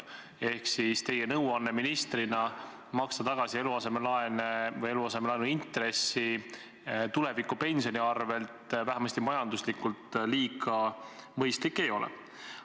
Seega teie ministrina antud nõuanne maksta tulevase pensioni arvel tagasi eluasemelaen või eluasemelaenu intress vähemasti majanduslikult kuigi mõistlik ei ole.